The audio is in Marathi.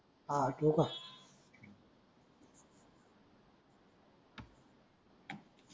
आह ठेऊ का